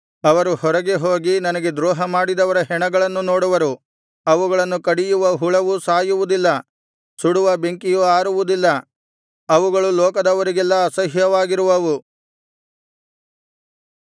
ಅವರು ಹೊರಗೆ ಹೋಗಿ ನನಗೆ ದ್ರೋಹ ಮಾಡಿದವರ ಹೆಣಗಳನ್ನು ನೋಡುವರು ಅವುಗಳನ್ನು ಕಡಿಯುವ ಹುಳವು ಸಾಯುವುದಿಲ್ಲ ಸುಡುವ ಬೆಂಕಿಯು ಆರುವುದಿಲ್ಲ ಅವುಗಳು ಲೋಕದವರಿಗೆಲ್ಲಾ ಅಸಹ್ಯವಾಗಿರುವವು